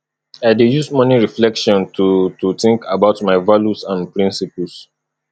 i dey use morning reflection to to think about my values and principles